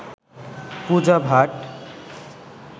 Puja Bhatt